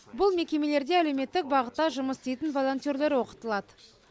бұл мекемелерде әлеуметтік бағытта жұмыс істейтін волонтерлер оқытылады